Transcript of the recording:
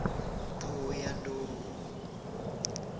thohoyandou